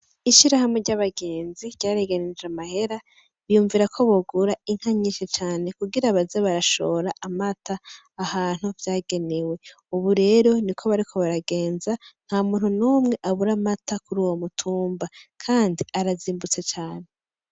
Ishirahamwe ry'abagenzi ryareganije amahera, biyumvira ko bogura inka nyinshi cane kugira baze barashora amata ahantu vyagenewe. Ubu rero niko bariko baragenza, nta muntu n'umwe abura amata kuri uwo mutumba, kandi arazimbutse cane.